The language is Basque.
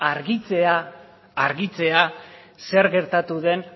argitzea zer gertatu den